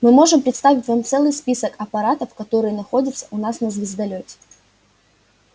мы можем представить вам целый список аппаратов которые находятся у нас на звездолёте